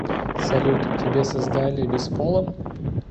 салют тебя создали бесполым